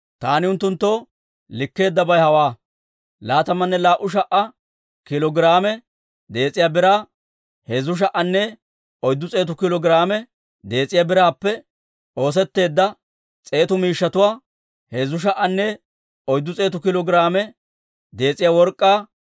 Taani unttunttoo likkeeddabay hawaa: laatamanne laa"u sha"a kiilo giraame dees'iyaa biraa, heezzu sha"anne oyddu s'eetu kiilo giraame dees'iyaa biraappe oosetteedda s'eetu miishshatuwaa, heezzu sha"anne oyddu s'eetu kiilo giraame dees'iyaa work'k'aa,